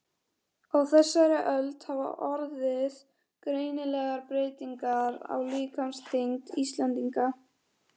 Á þessari öld hafa orðið greinilegar breytingar á líkamsþyngd Íslendinga.